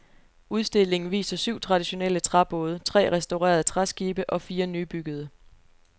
Udstillingen viser syv traditionelle træbåde, tre restaurerede træskibe og fire nybyggede.